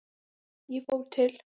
Ég fór til